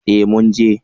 Eh mun je